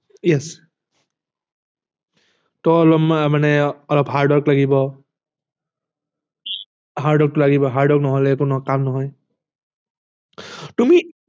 Yes অলপমান মানে অলপ hardwork লাগিব hardwork নহলে কোনো কাম নহয় তুমি